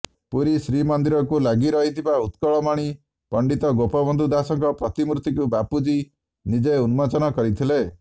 ପୁରୀ ଶ୍ରୀମନ୍ଦିରକୁ ଲାଗି ରହିଥିବା ଉତ୍କଳମଣି ପଣ୍ଡିତ ଗୋପବନ୍ଧୁ ଦାସଙ୍କ ପ୍ରତିମୂର୍ତ୍ତିକୁ ବାପୁଜୀ ନିଜେ ଉନ୍ମୋଚନ କରିଥିଲେ